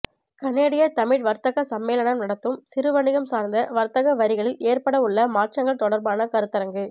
கனேடிய தமிழ்ர் வர்த்தக சம்மேளனம் நடத்தும் சிறு வணிகம் சார்ந்த வர்த்தக வரிகளில் ஏற்படவுள்ள மாற்றங்கள் தொடர்பான கருத்தரங்கு